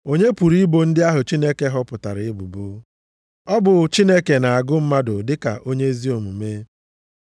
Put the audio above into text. Onye pụrụ ibo ndị ahụ Chineke họpụtara ebubo? Ọ bụ Chineke na-agụ mmadụ dịka onye ezi omume.